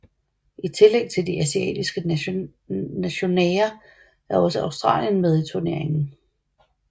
I tillæg til de asiatiske nationaer er også Australien med i turneringen